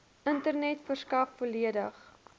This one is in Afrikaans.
internet verskaf volledige